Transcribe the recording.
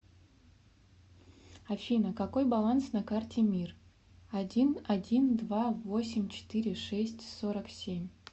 афина какой баланс на карте мир один один два восемь четыре шесть сорок семь